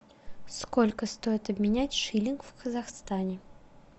сколько стоит обменять шиллинг в казахстане